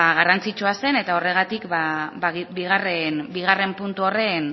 garrantzitsua zen eta horregatik bigarren puntu horren